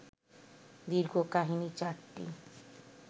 দীর্ঘ কাহিনী চারটি